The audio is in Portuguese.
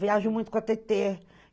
Viajo muito com a Tetê.